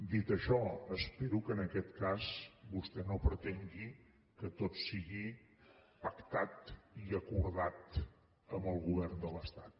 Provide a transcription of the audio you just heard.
dit això espero que en aquest cas vostè no pretengui que tot sigui pactat i acordat amb el govern de l’estat